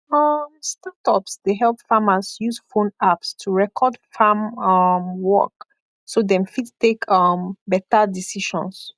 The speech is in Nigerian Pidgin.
um startups dey help farmers use phone apps to record farm um work so dem fit take um better decisions